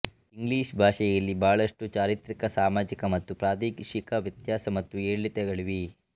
English ಭಾಷೆಯಲ್ಲಿ ಬಹಳಷ್ಟು ಚಾರಿತ್ರಿಕ ಸಾಮಾಜಿಕ ಮತ್ತು ಪ್ರಾದೇಶಿಕ ವ್ಯತ್ಯಾಸ ಮತ್ತು ಏರಿಳಿತಗಳಿವೆ